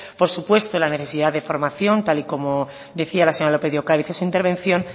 por supuesto la necesidad de formación tal y como decía la señora lópez de ocariz en su intervención